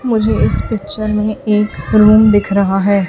मुझे इस पिक्चर में एक रूम दिख रहा है।